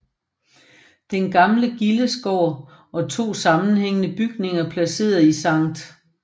Den gamle gildesgård er 2 sammenhængende bygninger placeret i Sct